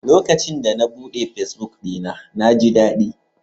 Lokacin da na buɗe fesbuk ɗina, na ji daɗi.